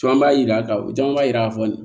Caman b'a jira u caman b'a jira k'a fɔ